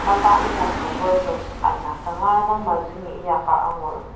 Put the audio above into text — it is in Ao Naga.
mapa inyaker workers ana kanga dang mazungi inyaka angur.